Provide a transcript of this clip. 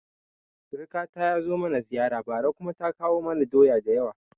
Sirkata ya zo mana ziyara bara kuma ta kawo mana doya da yawa